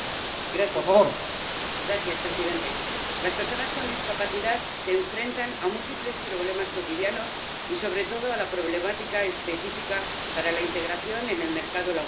Señor presidente, las personas con discapacidad se enfrentan a múltiples problemas cotidianos y, sobre todo, a la problemática específica para la integración en el mercado laboral.